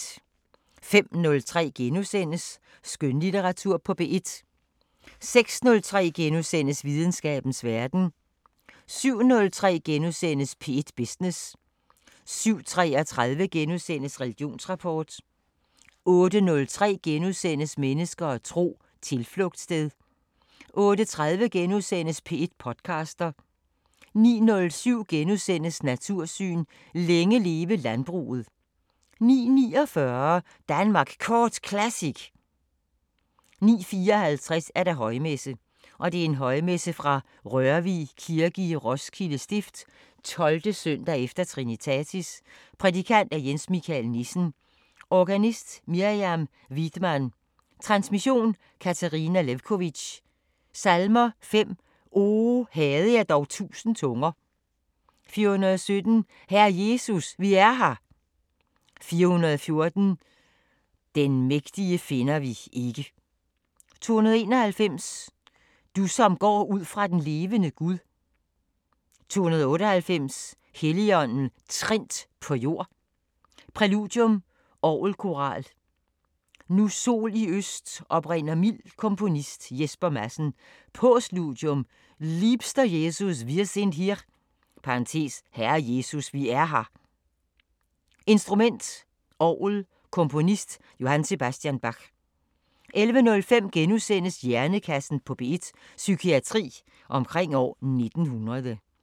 05:03: Skønlitteratur på P1 * 06:03: Videnskabens Verden * 07:03: P1 Business * 07:33: Religionsrapport * 08:03: Mennesker og tro: Tilflugtssted * 08:30: P1 podcaster * 09:07: Natursyn: Længe leve landbruget * 09:49: Danmark Kort Classic 09:54: Højmesse - Højmesse fra Rørvig Kirke, Roskilde Stift, 12.s. e. Trinitatis Prædikant: Jens Michael Nissen Organist: Miriam Widmann Transmission: Katarina Lewkovitch Salmer: 5: O havde jeg dog tusind tunger 417: Herre Jesus, vi er her 414: Den mægtige finder vi ikke 291: Du som går ud fra den levende Gud 298: Helligånden trindt på jord Præludium: Orgelkoral: Nu sol i øst oprinder mild Komponist: Jesper Madsen Postludium: Liebster Jesus, wir sind hier (herre Jesus, vi er her) Instrument: Orgel Komponist: J.S. Bach 11:05: Hjernekassen på P1: Psykiatri omkring år 1900 *